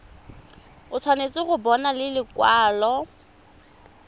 o tshwanetse go bona lekwalo